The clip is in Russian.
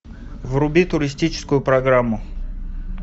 вруби туристическую программу